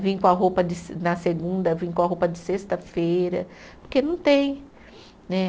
Vim com a roupa de se, na segunda, vim com a roupa de sexta-feira, porque não tem né.